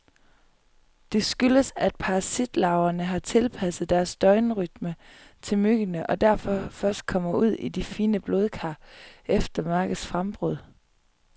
Det skyldes, at parasitlarverne har tilpasset deres døgnrytme til myggene, og derfor først kommer ud i de fine blodkar efter mørkets frembrud.